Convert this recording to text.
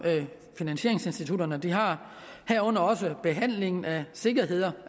finansieringsinstitutterne har herunder også behandlingen af sikkerheder